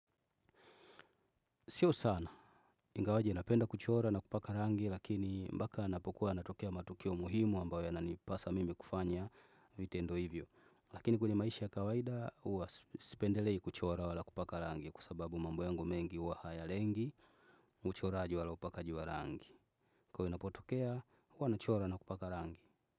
Sio sana, ingawaje napenda kuchora na kupaka rangi lakini mpaka yanapokuwa yanatokea matukio muhimu ambayo yananipasa mimi kufanya vitendo hivyo. Lakini kwenye maisha ya kawaida huwa sipendelei kuchora wala kupaka rangi kwasababu mambo yangu mengi huwa haya lengi, uchoraji wala upakaji wa rangi. Kwa hiyo inapotokea, huwa nachora na kupaka rangi.